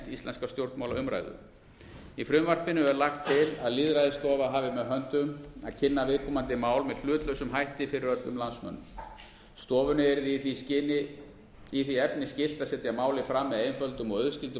íslenska stjórnmálaumræðu í frumvarpinu er lagt til að lýðræðisstofa hafi með höndum að kynna viðkomandi mál með hlutlausum hætti fyrir öllum landsmönnum stofunni yrði í því efni skylt að setja málið fram með einföldum og auðskildum